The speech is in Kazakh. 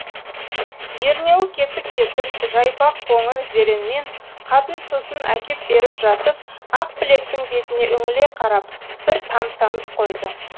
ернеуі кетік кетік жайпақ қоңыр зеренмен қатын сусын әкеп беріп жатып ақбілектің бетіне үңіле қарап бір тамсанып қойды